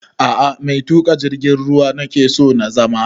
A'a mai tuƙa jirgin ruwa nake so na zama